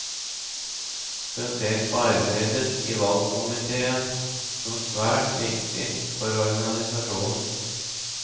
Han ser på arbeidet i valgkomitéen som svært viktig for organisasjonen.